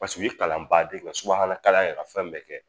Paseke u ye kalan baaden in kɛ ka subahana kalan kɛ, ka fɛn bɛɛ kɛ!